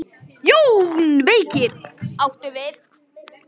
JÓN BEYKIR: Áttu við.